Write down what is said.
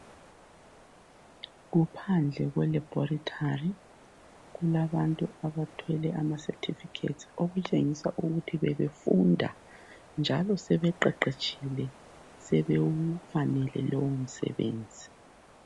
Kuphandle kwe Laboratory kulabantu abathwele ama certificates olutshengisa ukuthi bebefunda njalo sebeqeqetshile. Sebewufanele lowu msebenzi.